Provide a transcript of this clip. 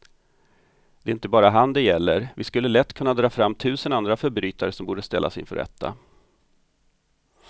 Det är inte bara han det gäller, vi skulle lätt kunna dra fram tusen andra förbrytare som borde ställas inför rätta.